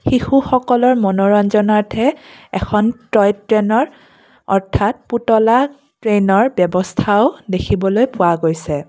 শিশুসকলৰ মনোৰঞ্জন অৰ্থে এখন টয়-ট্ৰেইনৰ অৰ্থাৎ পুতলা ট্ৰেইনৰ ব্যৱস্থাও দেখিবলৈ পোৱা গৈছে।